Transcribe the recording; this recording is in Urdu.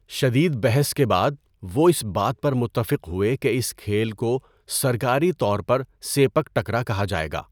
شدید بحث کے بعد، وہ اس بات پر متفق ہوئے کہ اس کھیل کو سرکاری طور پر 'سیپک تکرا' کہا جائے گا۔